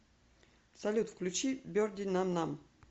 салют включи берди нам нам